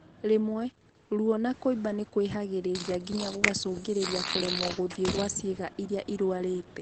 Rĩmwe, ruo na kũimba nĩkwĩhagĩrĩriaa nginya gũgacũngĩrĩria kũremwo gũthiĩ gwa ciĩga irĩa irwarĩte